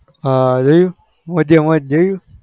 હ રહ્યું મોજે મોજ જોયું